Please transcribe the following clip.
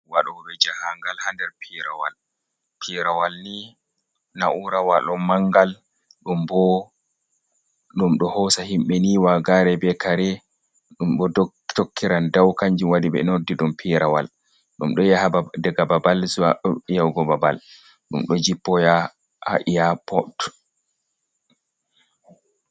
Waɗoɓe jahangal hander pirawal pirawal ni naurawal on ni mangal, ɗum bo ɗum ɗo hosa himbe ni wa gare, be kare ɗum ɗo tokkiran dau, kanju wadi be noddi ɗum pirawal, dum ɗoya daga babal zuwa babal, ɗum do jippa yaha ha iyapod